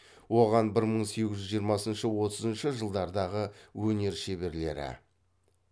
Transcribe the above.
оған бір мың сегіз жүз жиырмасыншы отызыншы жылдардағы өнер шеберлері